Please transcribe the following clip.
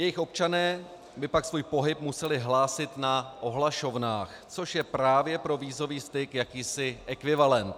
Jejich občané by pak svůj pohyb museli hlásit na ohlašovnách, což je právě pro vízový styk jakýsi ekvivalent.